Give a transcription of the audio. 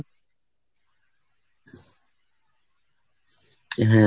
হ্যাঁ।